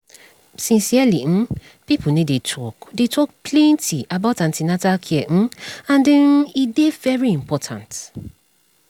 sincerely um pipo no dey talk dey talk plenty about an ten atal care um and um e dey very important